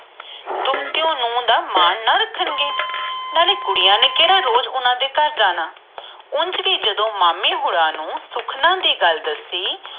ਦੋਹਤੇ ਮੂੰਹ ਦਾ ਮਨ ਨਾ ਰੱਖਣ ਗਏ ਨਾਲੇ ਕੁੜੀਆਂ ਨੇ ਕਿਹੜਾ ਰੋਜ ਓਹਨਾ ਦੇ ਘਰ ਜਾਣਾ ਨਾਲੇ ਉਂਝ ਵੀ ਓਹਨਾ ਨੂੰ ਸੁਖ ਓਹਨਾ ਦੇ ਗੱਲ ਦਸੀ